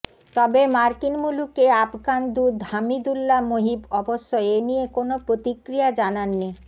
তবে মার্কিন মুলুকে আফগান দূত হামিদুল্লা মোহিব অবশ্য এনিয়ে কোনও প্রতিক্রিয়া জানাননি